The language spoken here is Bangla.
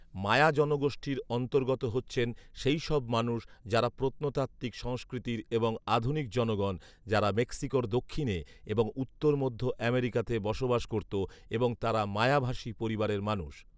মায়া জনগোষ্ঠীর অন্তর্গত হচ্ছেন সেইসব মানুষ যারা প্রত্নতাত্ত্বিক সংস্কৃতির এবং আধুনিক জনগণ, যারা মেক্সিকোর দক্ষিণে এবং উত্তর মধ্য আমেরিকাতে বসবাস করত এবং তারা মায়াভাষী় পরিবারের মানুষ